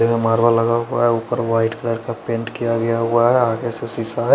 यहा मारवा लगा हुआ है उपर वाइट कलर का पेंट किया गया हुआ है आगे से सीसा है।